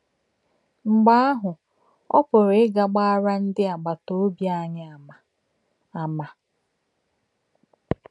Mgbe ahụ, ọ pụrụ ịga gbaara ndị agbata obi anyị àmà àmà.